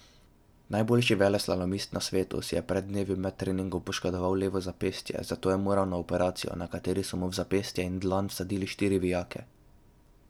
Najboljši veleslalomist na svetu si je pred dnevi med treningom poškodoval levo zapestje, zato je moral na operacijo, na kateri so mu v zapestje in dlan vsadili štiri vijake.